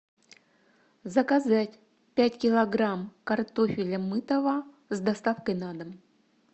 заказать пять килограмм картофеля мытого с доставкой на дом